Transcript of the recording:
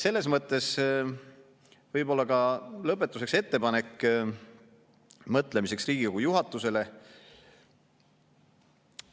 Selles mõttes lõpetuseks ka ettepanek mõtlemiseks Riigikogu juhatusele.